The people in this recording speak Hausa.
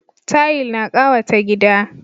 Tayil na kawata gida.